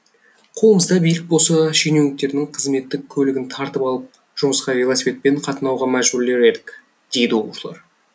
қолымызда билік болса шенеуніктердің қызметтік көлігін тартып алып жұмысқа велосипедпен қатынауға мәжбүрлер едік дейді оқушылар